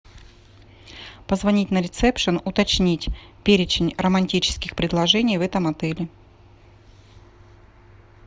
позвонить на ресепшн уточнить перечень романтических предложений в этом отеле